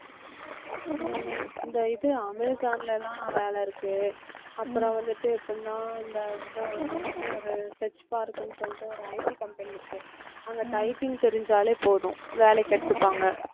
உம் இந்த இது அமேசான்லலாம் வேலை இருக்கு அப்புறம் வந்துட்டு எப்படின்னா அந்த இது அங்க வந்து ஒரு tech park ன்னு சொல்லிட்டு ஒரு IT company இருக்கு அங்க typing தெரிஞ்சாலே போதும் வேலைக்கு எடுத்துப்பாங்க